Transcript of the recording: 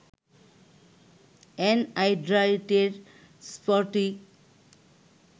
অ্যানহাইড্রাইটের স্ফটিক